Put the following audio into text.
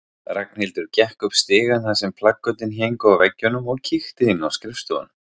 Ragnhildur gekk upp stigann þar sem plakötin héngu á veggjunum og kíkti inn á skrifstofuna.